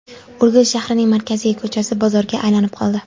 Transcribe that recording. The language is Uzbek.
Urgut shahrining markaziy ko‘chasi bozorga aylanib qoldi.